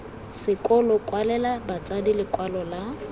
sekolo kwalela batsadi lekwalo la